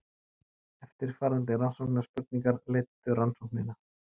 Eftirfarandi rannsóknarspurningar leiddu rannsóknina.